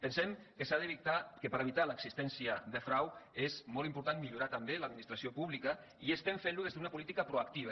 pensem que per evitar l’existència de frau és molt important millorar també l’administració pública i estem fent ho des d’una política proactiva